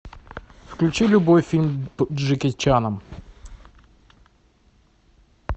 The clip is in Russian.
включи любой фильм с джеки чаном